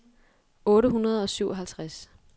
otte hundrede og syvoghalvtreds